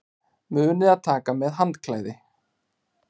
Munið að taka með handklæði!